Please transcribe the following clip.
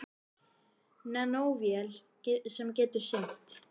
Nanóvél sem getur synt.